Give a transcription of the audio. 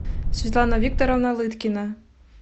светлана викторовна лыткина